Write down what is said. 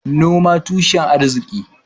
Noman tushen arki